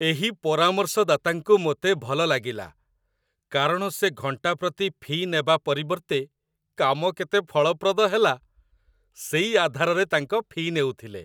ଏହି ପରାମର୍ଶଦାତାଙ୍କୁ ମୋତେ ଭଲ ଲାଗିଲା, କାରଣ ସେ ଘଣ୍ଟା ପ୍ରତି ଫି' ନେବା ପରିବର୍ତ୍ତେ କାମ କେତେ ଫଳପ୍ରଦ ହେଲା, ସେଇ ଆଧାରରେ ତାଙ୍କ ଫି' ନେଉଥିଲେ।